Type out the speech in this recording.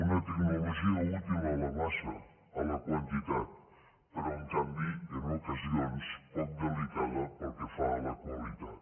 una tecnologia útil a la massa a la quantitat però en canvi en ocasions poc delicada pel que fa a la qualitat